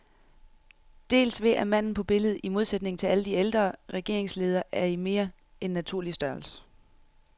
Dels ved at manden på billedet, i modsætning til alle de ældre regeringsledere, er i mere end naturlig størrelse.